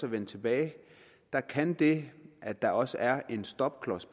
at vende tilbage kan det at der også er en stopklods